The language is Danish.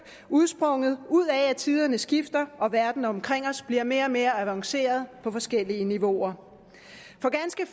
udsprunget af at tiderne skifter og verden omkring os bliver mere og mere avanceret på forskellige niveauer for ganske